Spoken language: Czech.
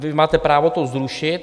Vy máte právo to zrušit.